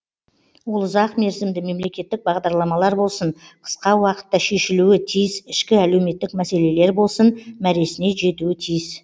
ол ұзақ мерзімді мемлекеттік бағдарламалар болсын қысқа уақытта шешілуі тиіс ішкі әлеуметтік мәселелер болсын мәресіне жетуі тиіс